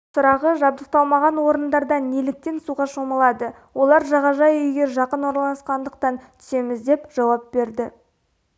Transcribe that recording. сұрағы жабдықталмаған орындарда неліктен суға шомылады олар жағажай үйге жақын орналасқандықтан түсеміз деп жауап берді